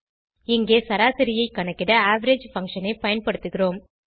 இங்கே சராசரியைக் கணக்கிட அவரேஜ் பங்ஷன் ஐ பயன்படுத்துகிறோம்